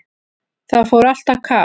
Það fór allt á kaf.